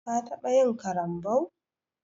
Ka taɓa yin ƙarambau?